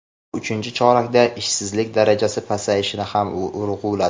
u uchinchi chorakda ishsizlik darajasi pasayishini ham urg‘uladi.